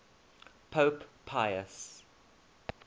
pope pius